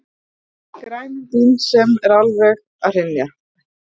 grænum Bens sem er alveg að hrynja.